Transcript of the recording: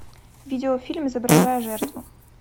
видеофильм изображая жертву